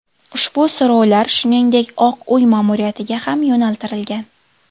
Ushbu so‘rovlar shuningdek Oq Uy ma’muriyatiga ham yo‘naltirilgan.